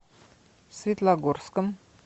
светлогорском